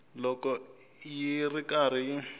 loko yi ri karhi yi